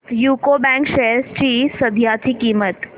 UCO bank shares ची सध्याची किंमत